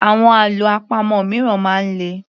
Àwọn àlọ́ àpamọ̀ míràn máa ń le